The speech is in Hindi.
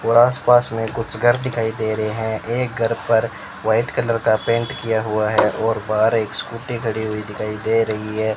और आसपास में कुछ घर दिखाई दे रहे हैं एक घर पर व्हाइट कलर का पेंट किया हुआ है और बाहर एक स्कूटी खड़ी हुई दिखाई दे रही है।